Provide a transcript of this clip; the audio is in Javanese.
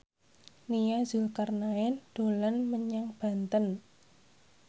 Nia Zulkarnaen dolan menyang Banten